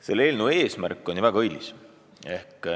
Selle eelnõu eesmärk on ju väga õilis.